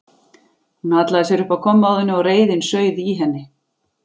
Hún hallaði sér upp að kommóðunni og reiðin sauð í henni.